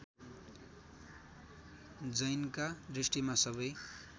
जैनका दृष्टिमा सबै